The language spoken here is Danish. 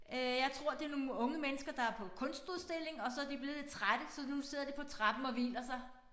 Øh jeg tror det nogle unge mennesker der er på kunstudstilling og så de blevet lidt trætte så nu sidder de på trappen og hviler sig